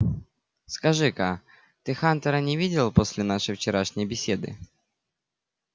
скажи-ка ты хантера не видел после нашей вчерашней беседы